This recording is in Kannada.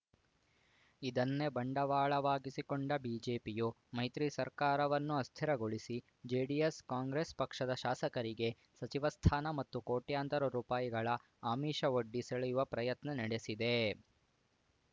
ಇದನ್ನೇ ಬಂಡವಾಳವಾಗಿಸಿಕೊಂಡ ಬಿಜೆಪಿಯು ಮೈತ್ರಿ ಸರ್ಕಾರವನ್ನು ಅಸ್ಥಿರಗೊಳಿಸಿ ಜೆಡಿಎಸ್‌ ಕಾಂಗ್ರೆಸ್‌ ಪಕ್ಷದ ಶಾಸಕರಿಗೆ ಸಚಿವ ಸ್ಥಾನ ಮತ್ತು ಕೋಟ್ಯಂತರ ರುಪಾಯಿ ಆಮಿಷವೊಡ್ಡಿ ಸೆಳೆಯುವ ಪ್ರಯತ್ನ ನಡೆಸಿದೆ